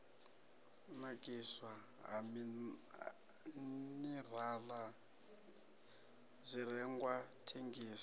nakiswa ha minirala zwirengwa thengiso